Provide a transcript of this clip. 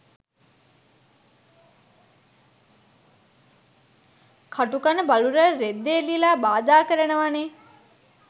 කටු කන බලු රැල රෙද්දෙ එල්ලිලා බාධා කරනවනෙ